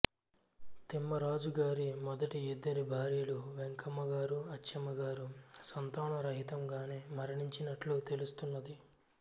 తిమ్మరాజు గారి మొదటి ఇద్దరు భార్యలు వెంకమ్మ గారు అచ్చమ్మ గారు సంతాన రహితం గానే మరణించినట్లు తెలుస్తున్నది